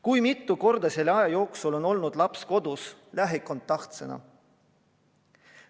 Kui mitu korda selle aja jooksul on olnud laps kodus lähikontaktsena?